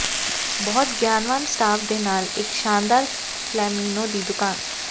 ਬਹੁਤ ਗਿਆਨਵਾਨ ਸਟਾਫ ਦੇ ਨਾਲ ਇੱਕ ਸ਼ਾਨਦਾਰ ਫਲੈਮੀਨੋ ਦੀ ਦੁਕਾਨ